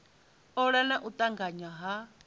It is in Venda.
ola na u tanganya ha